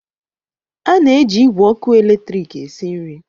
A na-eji igwe ọkụ eletrik esi nri.